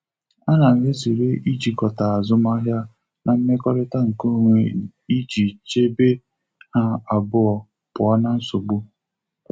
A na m ezere ijikọta azụmahịa na mmekọrịta nke onwe iji chebe ha abụọ pụọ na nsogbu.